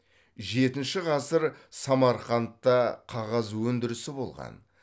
жетінші ғасыр самарқандта қағаз өндірісі болған